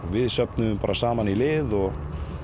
við söfnuðum saman í lið og